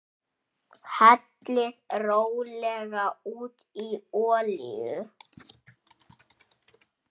Hellið rólega út í olíu.